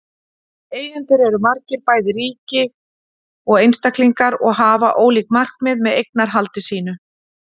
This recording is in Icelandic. Eigendur eru margir, bæði ríki og einstaklingar, og hafa ólík markmið með eignarhaldi sínu.